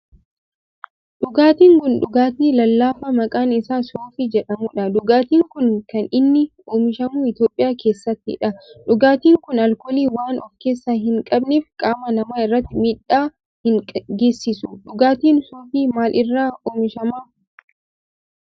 dhugaatiin kun dhugaatii lallaafaa maqaan isaa soofii jedhamudha. Dhugaatin kun kan inni oomishamu Itiyoophiyaa keessattidha. dhugaatin kun alkoolii waan of keessaa hin qabneef qaama namaa irratti miidhaa hin geesisu. Dhugaatiin soofii maal irraa oomishama?